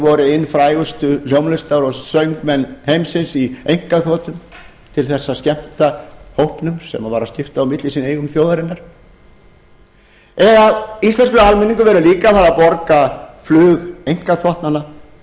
voru inn frægustu hljómlistar og söngmenn heimsins í einkaþotum til árs að skemmta hópnum sem var að skipta á milli sín eigum þjóðaruinanr íslenskur almenningur verður líka að fara að borga flug einkaþotnanna